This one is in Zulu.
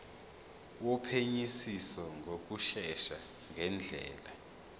wophenyisiso ngokushesha ngendlela